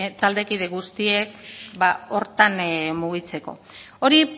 taldekide guztiek horretan mugitzeko hori